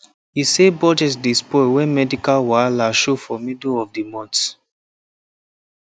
e say budget dey spoil when medical wahala show for middle of the month